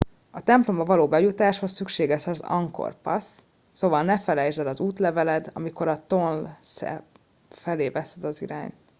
a templomba való bejutáshoz szükséges az angkor pass szóval ne felejtsd el az útleveled amikor tonle sap felé veszed az irányt